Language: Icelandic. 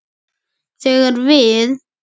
þegar við.